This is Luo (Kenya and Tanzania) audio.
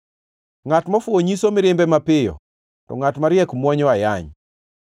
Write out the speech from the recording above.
Ngʼat mofuwo nyiso mirimbe mapiyo, to ngʼat mariek mwonyo ayany.